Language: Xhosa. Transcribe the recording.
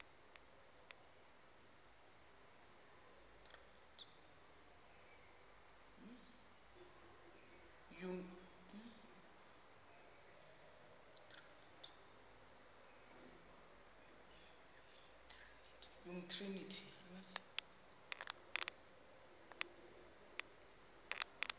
umtriniti